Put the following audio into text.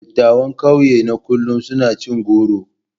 Dattawan kauye na kullum suna cin goro.